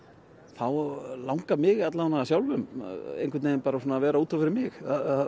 þá langar mig sjálfum einhvern veginn bara að vera út af fyrir mig